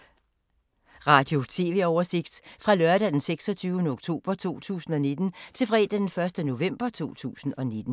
Radio/TV oversigt fra lørdag d. 26. oktober 2019 til fredag d. 1. november 2019